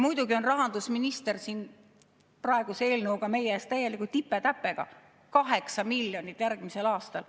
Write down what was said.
Muidugi on rahandusminister praegu eelnõu esitledes meie ees täieliku tipe-täpega: 8 miljonit järgmisel aastal.